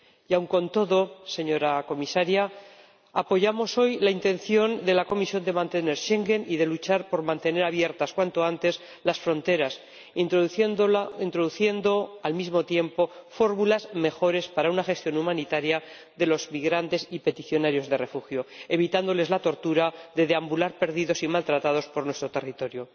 Y aun con todo, señora Comisaria, apoyamos hoy la intención de la Comisión de mantener Schengen y de luchar por reabrir cuanto antes las fronteras, introduciendo al mismo tiempo fórmulas mejores para una gestión humanitaria de los migrantes y solicitantes de asilo, evitándoles la tortura de deambular perdidos y maltratados por nuestro territorio.